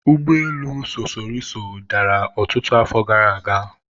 ụgbọelu sosoliso dara ọtụtụ afọ gara aga